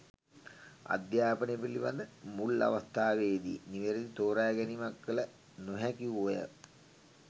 අධ්‍යාපනය පිළිබඳ මුල් අවස්ථාවේදී නිවැරදි තෝරා ගැනීමක් කළ නොහැකි වූ අය